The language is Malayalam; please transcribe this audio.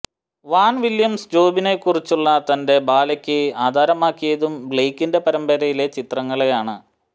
വ്വാൻ വില്യംസ് ജോബിനെക്കുറിച്ചുള്ള തന്റെ ബാലെക്ക് ആധാരമാക്കിയതും ബ്ലെയ്ക്കിന്റെ പരമ്പരയിലെ ചിത്രങ്ങളെയാണ്